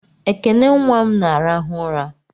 Ekene nnwa m na-arahụ ụra